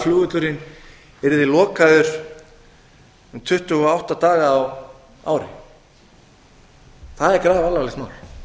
flugvöllurinn yrði lokaður um tuttugu og átta daga á ári það er grafalvarlegt mál